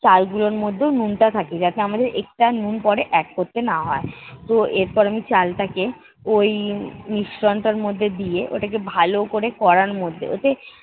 চালগুলোর মধ্যেও নুনটা থাকে যাতে আমাদের extra নুন পরে add করতে না হয়। তো এরপর আমি চালটাকে ওই মিশ্রণটার মধ্যে দিয়ে ওটাকে ভালো করে কড়ার মধ্যে ওতে